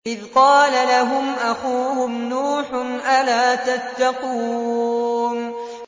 إِذْ قَالَ لَهُمْ أَخُوهُمْ نُوحٌ أَلَا تَتَّقُونَ